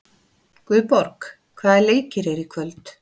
Guðborg, hvaða leikir eru í kvöld?